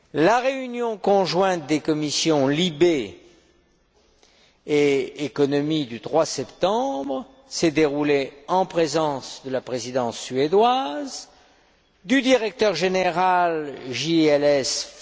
La réunion conjointe des commissions LIBE et ECON du 3 septembre s'est déroulée en présence de la Présidence suédoise, du directeur général JLS, M.